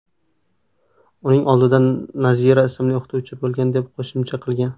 Uning oldida Nazira ismli o‘qituvchi bo‘lgan deb qo‘shimcha qilgan.